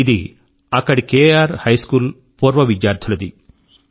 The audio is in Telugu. ఇది అక్కడి కేఆర్ హై స్కూల్ యొక్క పూర్వ విద్యార్థులది